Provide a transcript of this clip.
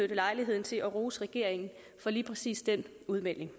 lejligheden til at rose regeringen for lige præcis den udmelding